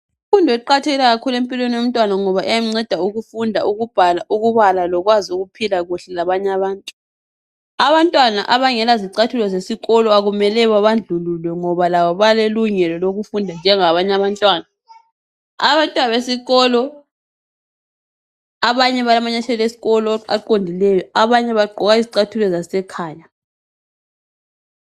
Imfundo iqakatheke kakhulu empilweni yomntwana ngoba iyamnceda ukufunda ukubhala, ukubala lokwazi ukuphila kuhle labanye abantu. Abantwana abangela zicathulo zesikolo akumelanga babandlululwe ngoba labo balelungelo lokufunda njengabanye abantwana. Abanye abantwana besikolo balamanyathela esikolo aqondileyo abanye bagqoka izicathulo zekhaya.